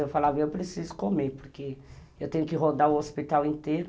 Eu falava, eu preciso comer, porque eu tenho que rodar o hospital inteiro.